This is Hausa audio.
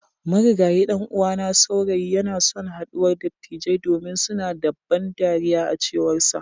Marigayi dan'uwana saurayi yanason haduwar dattijai domin suna da ban dariya a cewarsa.